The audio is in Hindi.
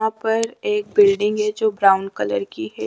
यहाँ पर एक बिल्डिंग है जो ब्राउन कलर कि है।